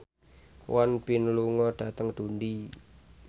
Won Bin lunga dhateng Dundee